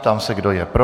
Ptám se, kdo je pro.